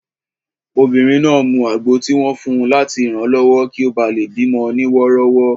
Obìnrin náà mu àgbo tí wọ́n fun láti ranlọwọ kí ó bá lè bí mọ ní wọ́rọ́wọ́